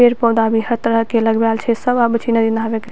पेड़-पौधा भी हर तरह के लगवाल छै सब आवे छै नदी नहावे के --